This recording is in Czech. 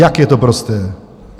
Jak je to prosté.